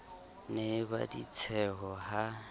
ne e ba ditsheho ha